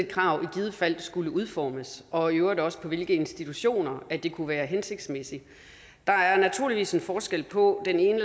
krav i givet fald skulle udformes og i øvrigt også på hvilke institutioner det kunne være hensigtsmæssigt der er naturligvis en forskel på den ene